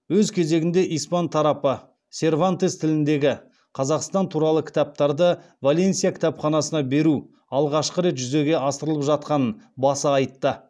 өз кезегінде испан тарапы сервантес тіліндегі қазақстан туралы кітаптарды валенсия кітапханасына беру алғашқы рет жүзеге асырылып жатқанын баса айтты